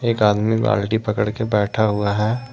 आदमी बाल्टी पकड़ के बैठा हुआ है।